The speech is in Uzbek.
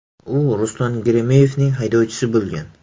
U Ruslan Geremeyevning haydovchisi bo‘lgan.